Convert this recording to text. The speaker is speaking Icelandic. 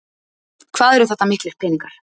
Hvað eru þetta miklir peningar?